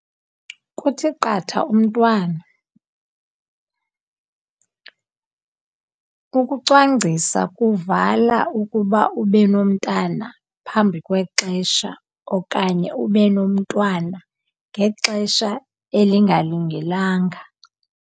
Kuthi qatha umntwana. Ukucwangcisa kuvala ukuba ube nomntana phambi kwexesha okanye ube nomntwana ngexesha elingalungelanga.